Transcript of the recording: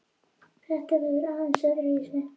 Þetta verður aðeins öðruvísi